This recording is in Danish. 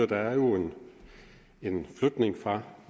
der er jo en flytning fra